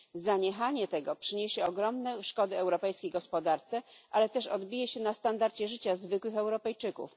Zaniechanie tego przyniesie ogromne szkody europejskiej gospodarce, ale też odbije się na standardzie życia zwykłych Europejczyków.